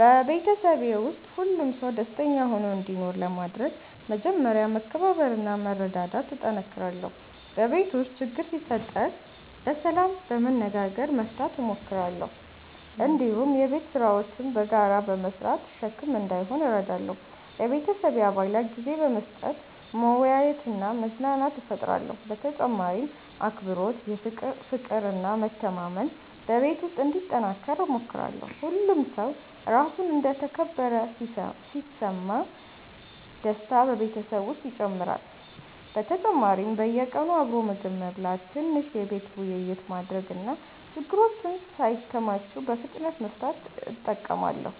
በቤተሰቤ ውስጥ ሁሉም ሰው ደስተኛ ሆኖ እንዲኖር ለማድረግ መጀመሪያ መከባበርና መረዳዳት እጠነክራለሁ። በቤት ውስጥ ችግር ሲፈጠር በሰላም በመነጋገር መፍታት እሞክራለሁ። እንዲሁም የቤት ስራዎችን በጋራ በመስራት ሸክም እንዳይሆን እረዳለሁ። ለቤተሰቤ አባላት ጊዜ በመስጠት መወያየትና መዝናናት እፈጥራለሁ። በተጨማሪም አክብሮት፣ ፍቅር እና መተማመን በቤት ውስጥ እንዲጠናከር እሞክራለሁ። ሁሉም ሰው ራሱን እንደ ተከበረ ሲሰማ ደስታ በቤተሰብ ውስጥ ይጨምራል። በተጨማሪም በየቀኑ አብሮ ምግብ መብላት፣ ትንሽ የቤተሰብ ውይይት ማድረግ እና ችግሮችን ሳይከማቹ በፍጥነት መፍታት እጠቀማለሁ።